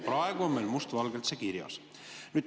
Praegu on meil must valgel see kirjas.